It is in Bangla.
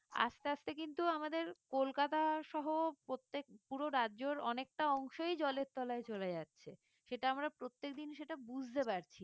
আস্তে আস্তে কিন্তু আমাদের কলকাতা সহ প্রত্যেক পুরো রাজ্যের অনেকটা অংশই জলের তলায় চলে যাচ্ছে সেটা আমরা প্রত্যেকদিন সেটা বুঝতে পারছি না